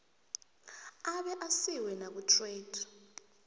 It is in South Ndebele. abe asiwe nakutrade